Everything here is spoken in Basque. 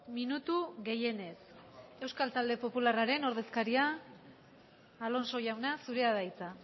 minutu gehienez euskal talde popularraren ordezkaria alonso jauna zurea da hitza